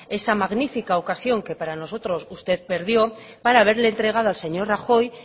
esa magnífica ocasión que para nosotros usted perdió para haberle entregado al señor rajoy